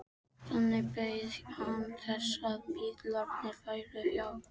Þannig beið hann þess að bílarnir færu hjá.